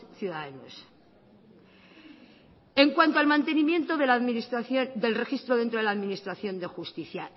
ciudadanos en cuanto al mantenimiento del registro dentro de la administración de justicia